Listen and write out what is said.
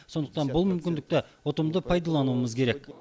сондықтан бұл мүмкіндікті ұтымды пайдалануымыз керек